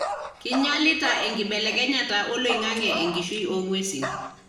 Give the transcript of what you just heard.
kinyialita enkibelekenyata oloingange enkishui ongwesin